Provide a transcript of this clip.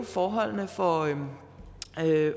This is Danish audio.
forholdene for